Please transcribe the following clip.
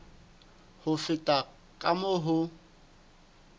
ho feta ka moo ho